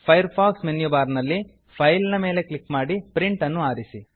fire fox menu bar ನಲ್ಲಿ file ಮೇಲೆ click ಮಾಡಿ ಪ್ರಿಂಟ್ ಅನ್ನು ಆರಿಸಿ